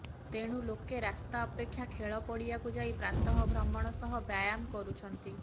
ତେଣୁ ଲୋକେ ରାସ୍ତା ଅପେକ୍ଷା ଖେଳ ପଡିଆକୁ ଯାଇ ପ୍ରାତଃଭ୍ରମଣ ସହ ବ୍ୟାୟାମ କରୁଛନ୍ତି